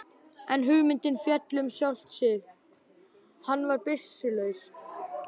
En hugmyndin féll um sjálft sig, hann var byssulaus.